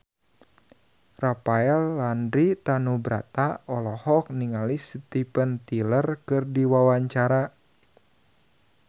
Rafael Landry Tanubrata olohok ningali Steven Tyler keur diwawancara